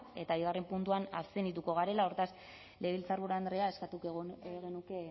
eta bigarrena puntuan abstenituko garela hortaz legebiltzarburu andrea eskatu nahi genuke